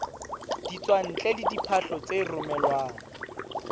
ditswantle le diphahlo tse romelwang